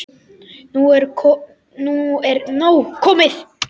Nú er nóg komið.